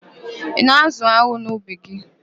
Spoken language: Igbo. Ị na-ázụ̀ an̄ụ n'ubi gị?